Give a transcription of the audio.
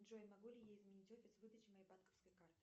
джой могу ли я изменить офис выдачи моей банковской карты